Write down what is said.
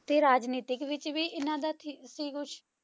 ਤੇ ਰਾਜਨੀਤਿਕ ਵਿੱਚ ਵੀ ਇਹਨਾਂ ਦਾ ਥੀ ਸੀ ਕੁਛ?